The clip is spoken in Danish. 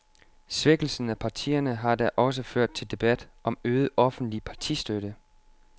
Svækkelsen af partierne har da også ført til debat om øget offentlig partistøtte.